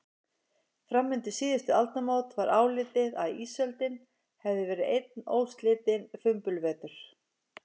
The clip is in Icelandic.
Fram undir síðustu aldamót var álitið að ísöldin hefði verið einn óslitinn fimbulvetur.